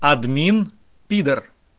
админ пидор